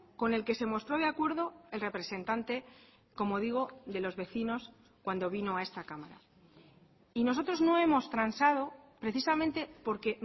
con el que se mostró de acuerdo el representante como digo de los vecinos cuando vino a esta cámara y nosotros no hemos transado precisamente porque